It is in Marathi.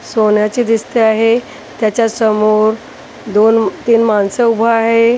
सोन्याची दिसते आहे त्याच्या समोर दोन तीन माणसं उभ आहे.